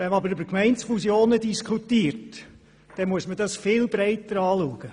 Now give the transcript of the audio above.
Wenn man aber über Gemeindefusionen spricht, dann muss man das viel breiter betrachten.